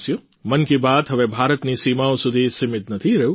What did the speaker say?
મન કી બાત હે ભારતની સીમાઓ સુધી સીમિત નથી રહ્યું